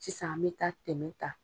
Sisan an me taa tɛmɛ ta.